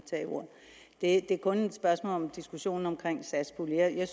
at tage det er kun et spørgsmål om diskussionen om satspuljen jeg